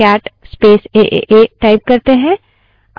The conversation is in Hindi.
aaa एएए name से कोई भी file मौजूद नहीं है